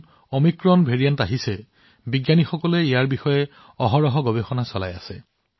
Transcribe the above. আমাৰ বিজ্ঞানীসকলে নতুন অমিক্ৰন প্ৰকাৰটো নিৰন্তৰে অধ্যয়ন কৰি আছে